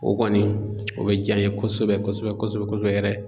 O kɔni o bɛ diy'an ye kosɛbɛ kosɛbɛ kosɛbɛ kosɛbɛ yɛrɛ.